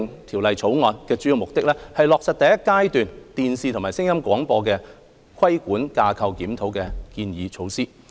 《條例草案》的主要目的，是落實第一階段"電視及聲音廣播規管架構檢討"的建議措施。